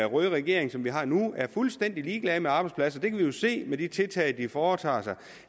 røde regering som vi har nu er fuldstændig ligeglad med arbejdspladser det kan vi jo se med de tiltag de foretager sig